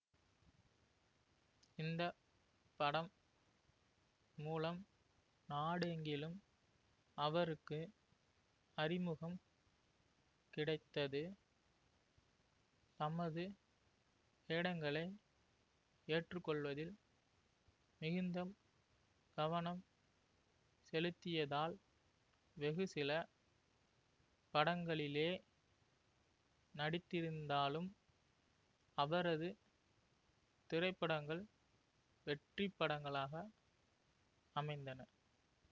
இந்த படம் மூலம் நாடெங்கிலும் அவருக்கு அறிமுகம் கிடைத்தது தமது வேடங்களை ஏற்றுக்கொள்வதில் மிகுந்த கவனம் செலுத்தியதால் வெகுசில படங்களிலே நடித்திருந்தாலும் அவரது திரைப்படங்கள் வெற்றிப்படங்களாக அமைந்தன